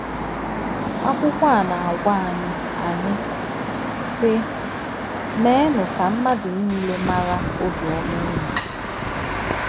Akwụkwọ a na-agwa anyị, anyị, sị: “ Meenụ ka mmadụ niile mara obiọma unu.”